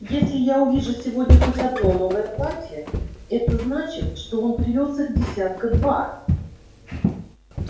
если я увижу сегодня хоть одно новое платье это значит что он привёз их десятка два